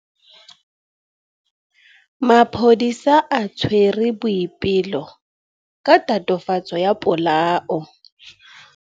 Maphodisa a tshwere Boipelo ka tatofatsô ya polaô.